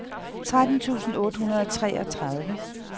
tretten tusind otte hundrede og treogtredive